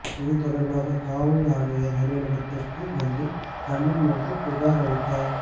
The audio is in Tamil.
இதுதொடர்பாக காவல் ஆணையர் அலுவலகத்திற்கு வந்து கண்ணீர் மல்க புகார் அளித்தார்